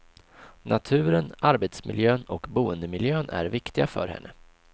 Naturen, arbetsmiljön och boendemiljön är viktiga för henne.